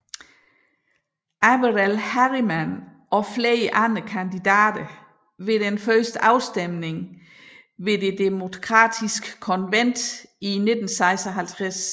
Averell Harriman og flere andre kandidater ved den første afstemning ved det demokratiske konvent i 1956